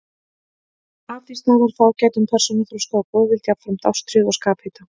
Af því stafar fágætum persónuþroska og góðvild, jafnframt ástríðu og skaphita.